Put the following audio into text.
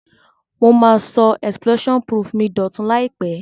Mo ma so explosion proof mi dòtun làìpé